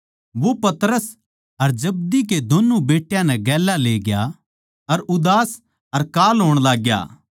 वो पतरस अर जब्दी के दोन्नु बेट्टा नै गेल्या लेग्या अर उदास अर कांल होण लाग्या